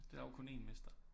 Der er jo kun en mester